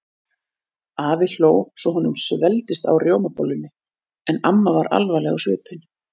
Afi hló svo honum svelgdist á rjómabollunni en amma var alvarleg á svipinn.